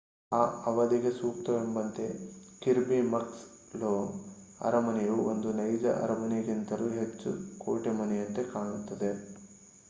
ಆ ಅವಧಿಗೆ ಸೂಕ್ತವೆಂಬಂತೆ ಕಿರ್ಬಿ ಮಕ್ಸ್ ಲೋ ಅರಮನೆಯು ಒಂದು ನೈಜ ಅರಮನೆಗಿಂತಲೂ ಹೆಚ್ಚು ಕೋಟೆಮನೆಯಂತೆ ಕಾಣುತ್ತದೆ